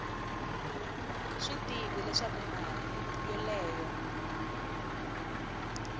swi tivi leswaku mali yoleyo